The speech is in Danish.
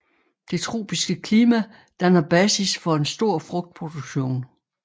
Det tropiske klima danner basis for en stor frugtproduktion